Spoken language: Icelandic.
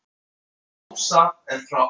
Ása er frá Akureyri.